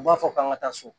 U b'a fɔ k'an ka taa so